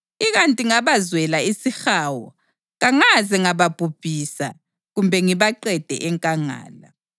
Ikanti ngabazwela isihawu kangaze ngababhubhisa kumbe ngibaqede enkangala.